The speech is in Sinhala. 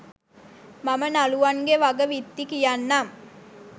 මම නළුවන්ගෙ වග විත්ති කියන්නම්.